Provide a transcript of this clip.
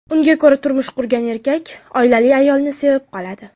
Unga ko‘ra, turmush qurgan erkak oilali ayolni sevib qoladi.